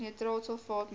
nitraat sulfaat metale